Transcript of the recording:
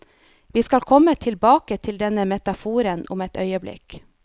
Vi skal komme tilbake til denne metaforen om et øyeblikk.